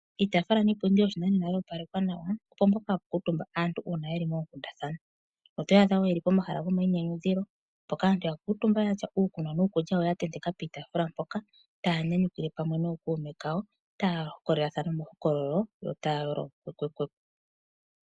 Iitafula niipundi yo shinanena ya opalekwa nawa, opo mpoka hapu kuutumba aantu uuna yeli moonkundathana, oto adha woo yeli po mahala go mayinyanyu dhilo mpoka aantu ya kutumba yatya uukunwa nuukutya ya ntenteka piitafula mpoka taya nyanyukilwe pamwe noo kuume kayo, taya hokololathana uuhokololo yo taya yolo kwekwe kwekwe.